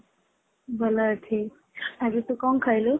ଭଲ ଅଛି | ଆଜି ତୁ କଣ ଖାଇଲୁ?